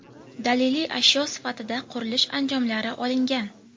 Daliliy ashyo sifatida qurilish anjomlari olingan.